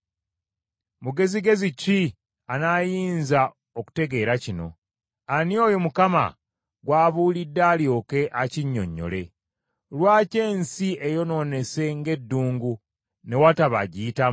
Mugezigezi ki anaayinza okutegeera kino? Ani oyo Mukama gw’abuulidde alyoke akinnyonnyole? Lwaki ensi eyonoonese ng’eddungu ne wataba agiyitamu?